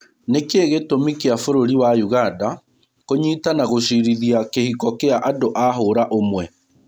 Nĩkĩĩ gĩtũmĩ kĩa bũrũri wa ũganda kũnyita na gũcirithia kĩhiko kia andũa hũra ũmwe.